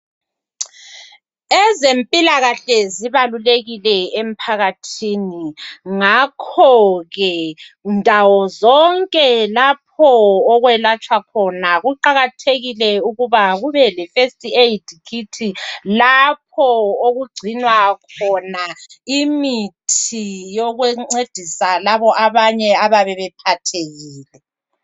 Ezempilakahle zibalulekile emphakathini. Ngakho ke ndawo zonke lapho okwelatshwa khona kuqakathekile ukuba kube le first aid kit . Lapho okugcinwa khona imithi yokuncedisa labo abanye abayabe bephathekile .